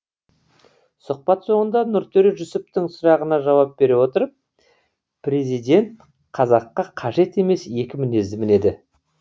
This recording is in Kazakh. сұхбат соңында нұртөре жүсіптің сұрағына жауап бере отырып президент қазаққа қажет емес екі мінезді мінеді